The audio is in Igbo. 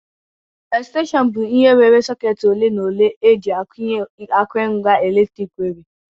Extension bụ ihe nwere socketị ole ma ole eji akwụnye akụrụngwa eletrik nwere